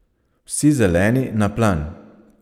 Vsi zeleni na plan!